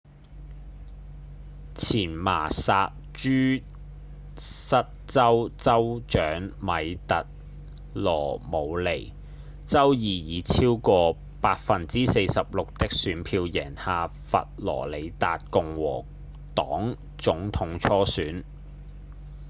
前麻薩諸塞州州長米特‧羅姆尼週二以超過 46% 的選票贏下佛羅里達共和黨總統初選